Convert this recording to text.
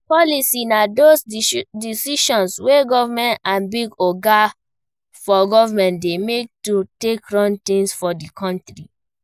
Policy na those decisions wey government and big oga for goverment dey make to take run things for di country